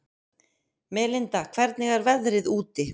Melinda, hvernig er veðrið úti?